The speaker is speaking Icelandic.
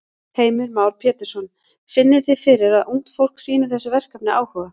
Heimir Már Pétursson: Finnið þið fyrir að ungt fólk sýnir þessu verkefni áhuga?